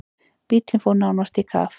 Bíllinn fór nánast í kaf.